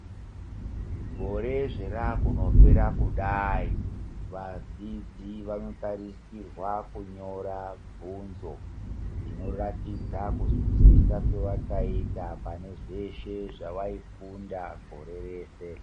Gore zvarakundopera kudai vazhinji vanotarisirwa kunyora bvunzo dzinoratidza kunzwisisa kwavakaita pane zveshe zvawaifunda gore reshe.